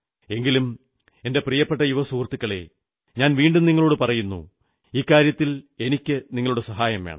എങ്കിലും എന്റെ പ്രിയപ്പെട്ട യുവസുഹൃത്തുക്കളേ ഞാൻ വീണ്ടും നിങ്ങളോടു പറയുന്നു ഇക്കാര്യത്തിൽ എനിക്കു നിങ്ങളുടെ സഹായം വേണം